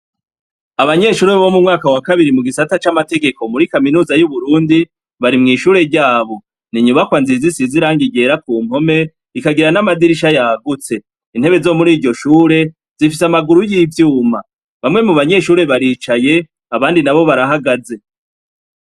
Abanyeshure bo mu mwaka wa kabiri, mu gisata c'amategeko, muri kaminuza y'Uburundi, bari mw'ishure ryabo. Ni inyubakwa nziza isize irangi ryera ku mpome, ikagira n'amadirisha yagutse; intebe zo muri iryo shure, zifise amaguru y'ivyuma. Bamwe mu banyeshure baricaye, abandi nabo barahagaze.